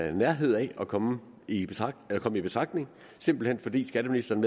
i nærheden af at komme i betragtning i betragtning simpelt hen fordi skatteministeren